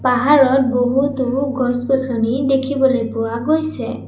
পাহাৰত বহুতো গছ-গছনি দেখিবলৈ পোৱা গৈছে।